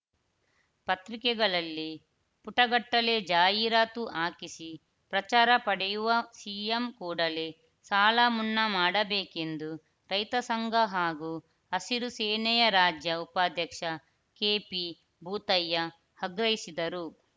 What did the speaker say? ಪತ್ರಿಕೆಗಳಲ್ಲಿ ಪುಟಗಟ್ಟಲೆ ಜಾಹೀರಾತು ಹಾಕಿಸಿ ಪ್ರಚಾರ ಪಡೆಯುವ ಸಿ ಎಂ ಕೂಡಲೇ ಸಾಲಮುನ್ನಾ ಮಾಡಬೇಕೆಂದು ರೈತ ಸಂಘ ಹಾಗೂ ಹಸಿರು ಸೇನೆಯ ರಾಜ್ಯ ಉಪಾಧ್ಯಕ್ಷ ಕೆಪಿಭೂತಯ್ಯ ಆಗ್ರಹಿಸಿದರು